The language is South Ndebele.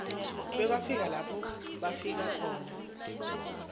bekwafika lapho bafaka khona igezi